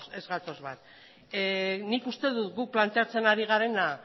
ez gatoz bat nik uste dut guk planteatzen ari garena